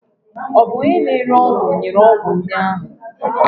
Ọ bụ onye na-ere ọgwụ nyere ọgwụ ndị ahụ?